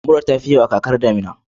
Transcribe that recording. Mura ta fi yawa a kakar damina.